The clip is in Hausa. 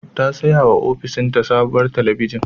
Ta sayawa ofishinta sabuwar talabijin.